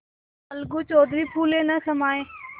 अलगू चौधरी फूले न समाये